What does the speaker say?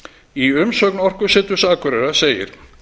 í umsögn orkuseturs akureyrar segir